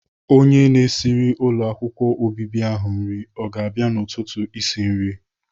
Onye na-esiri ụlọ akwụkwọ obibi ahụ nri ọ ga-abịa n'ụtụtụ esi nri?